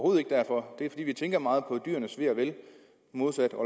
er derfor det er fordi vi tænker meget på dyrenes ve og vel i modsætning